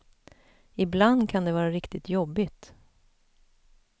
Ibland kan det vara riktigt jobbigt.